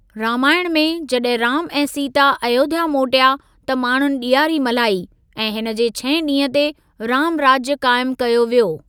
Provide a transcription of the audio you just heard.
रामायण में, जॾहिं राम ऐं सीता अयोध्‍या मोटिया, त माण्‍हुनि ॾियारी मल्हाई, ऐं हिनजे छहें ॾींह ते, रामराज्‍य क़ाइमु कयो वियो।